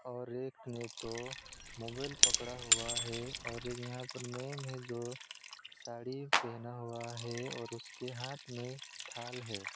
और एक ने तो मोबाइल पकड़ा हुआ है और एक यहां पर मेम हैं जो साड़ी पहना हुआ है और उसके हाथ में थाल है।